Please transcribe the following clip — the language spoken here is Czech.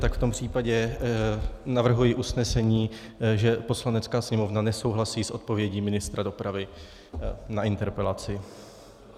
Tak v tom případě navrhuji usnesení, že Poslanecká sněmovna nesouhlasí s odpovědí ministra dopravy na interpelaci.